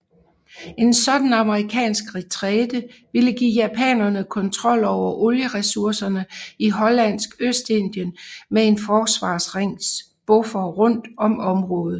En sådan amerikansk retræte ville give japanerne kontrol over olieresurserne i Hollandsk Østindien med en forsvarsring buffer rundt om området